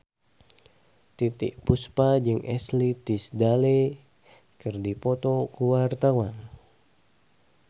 Titiek Puspa jeung Ashley Tisdale keur dipoto ku wartawan